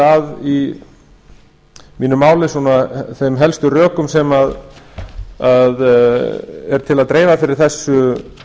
að í mínu máli þeim helstu rökum sem er til að dreifa fyrir þessu